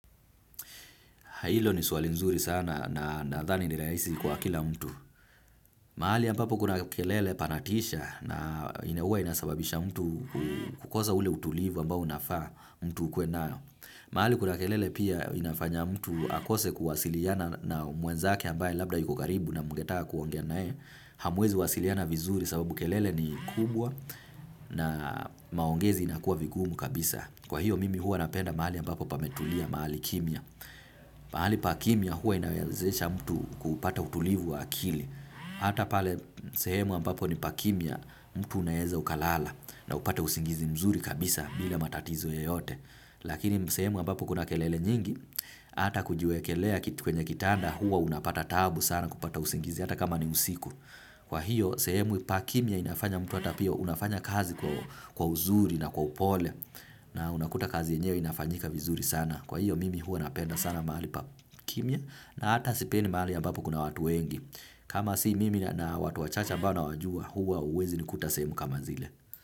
Hilo ni swali nzuri sana na nadhani ni rahisi kwa kila mtu. Mahali ampapo kuna kelele panatisha na huwa inasababisha mtu kukosa ule utulivu ambao unafaa mtu ukuwe nao. Mahali kuna kelele pia inafanya mtu akose kuwasiliana na mwenzake ambaye labda yuko karibu na mgetaka kuongea naye. Hamuwezi wasiliana vizuri sababu kelele ni kubwa na maongezi inakuwa vigumu kabisa. Kwa hiyo mimi huwa napenda mahali ampapo pametulia, mahali kimya. Pahali pa kimya huwa inawezesha mtu kupata utulivu wa akili. Hata pale sehemu ambapo ni pa kimya mtu unaweza ukalala na upate usingizi mzuri kabisa bila matatizo yeyote. Lakini sehemu ambapo kuna kelele nyingi hata kujiwekelea kwenye kitanda hua unapata taabu sana kupata usingizi hata kama ni usiku. Kwa hiyo sehemu pa kimya inafanya mtu hata pia unafanya kazi kwa uzuri na kwa upole. Na unakuta kazi yenyewe inafanyika vizuri sana. Kwa hio mimi huwa napenda sana mahali pa kimya na hata sipendi mahali ambapo kuna watu wengi. Kama si mimi na watu wachache ambao nawajua huwa huwezi ni lkuta sehemu kama zile.